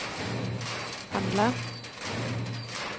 handla